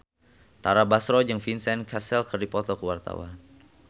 Tara Basro jeung Vincent Cassel keur dipoto ku wartawan